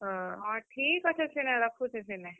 ହଁ ଠିକ୍ ଅଛେ ସିନେ ରଖୁଛେଁ ସିନେ,